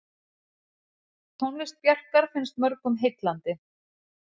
Tónlist Bjarkar finnst mörgum heillandi.